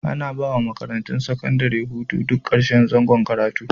Ana ba wa makarantun sakandare hutu duk karshen zangon karatu.